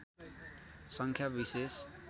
सङ्ख्या विशेष